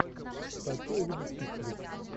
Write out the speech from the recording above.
хочу увидеть чикфлик